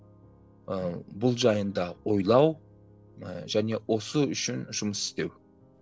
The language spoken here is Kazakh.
ыыы бұл жайында ойлау ы және осы үшін жұмыс істеу